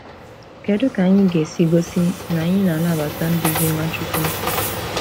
Kedu ka anyị ga-esi gosi na anyị na-anabata nduzi Nwachukwu?